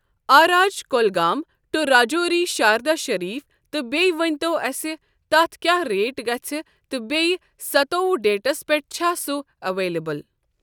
آ راج کُلگام ٹو راجوری شاردا شریٖف تہٕ بیٚیہِ ؤنۍتو اَسہِ تَتھ کیٚاہ ریٹ گژھِ تہٕ بیٚیہِ ستوٚوُہ ڈیٹَس پؠٹھ چھا سۄ اؠوَلیبٕل۔